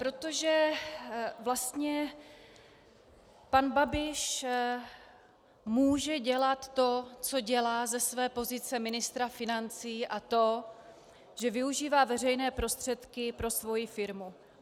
Protože vlastně pan Babiš může dělat to, co dělá ze své pozice ministra financí, a to že využívá veřejné prostředky pro svoji firmu.